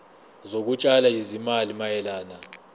zokutshala izimali mayelana